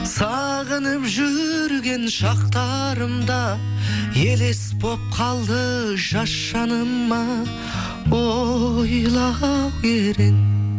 сағынып жүрген шақтарымда елес болып қалды жас жаныма ойлау керек